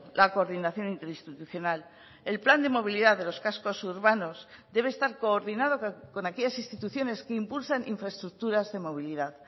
la coordinación interinstitucional el plan de movilidad de los cascos urbanos debe estar coordinado con aquellas instituciones que impulsan infraestructuras de movilidad